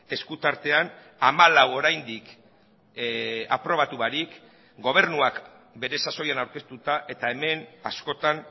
esku tartean hamalau oraindik aprobatu barik gobernuak bere sasoian aurkeztuta eta hemen askotan